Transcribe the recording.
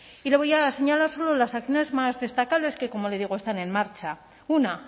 y lo voy a señalar solo las acciones más destacables que como le digo están en marcha una